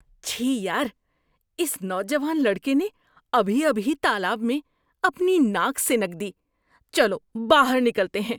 چھی یار! اس نوجوان لڑکے نے ابھی ابھی تالاب میں اپنی ناک سنک دی۔ چلو باہر نکلتے ہیں۔